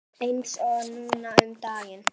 Eins og núna um daginn.